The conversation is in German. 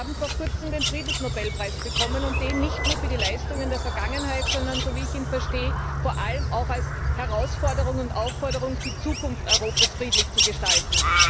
Wir haben vor kurzem den Friedensnobelpreis bekommen, und das nicht nur für die Leistungen der Vergangenheit, sondern so wie ich ihn verstehe vor allem auch als Herausforderung und Aufforderung, die Zukunft Europas friedlich zu gestalten.